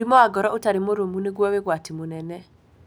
mũrimũ wa ngoro ũtarĩ mũrũmu nĩguo wĩ ũgwatĩ mũnene.